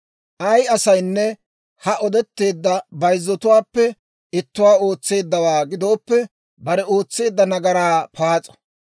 « ‹Ay asaynne ha odetteedda bayzzatuwaappe ittuwaa ootseeddawaa gidooppe, bare ootseedda nagaraa paas'o.